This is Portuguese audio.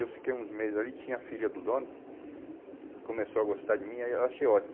Eu fiquei uns meses ali, tinha a filha do dono, começou a gostar de mim, aí eu achei ótimo.